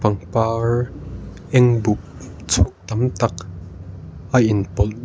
pangpar eng buk chhup tam tak a inpawlh--